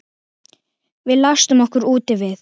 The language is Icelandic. Við læstum okkur úti við